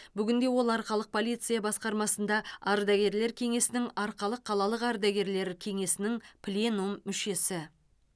бүгінде ол арқалық полиция басқармасында ардагерлер кеңесінің арқалық қалалық ардагерлер кеңесінің пленум мүшесі